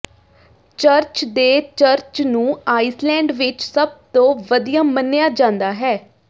church ਦੇ church ਨੂੰ Iceland ਵਿਚ ਸਭ ਤੋਂ ਵਧੀਆ ਮੰਨਿਆ ਜਾਂਦਾ ਹੈ